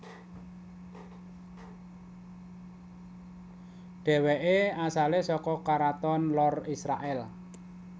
Dhèwèké asalé saka karaton lor Israèl